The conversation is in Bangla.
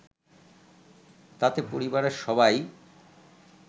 তাতে পরিবারের সবাই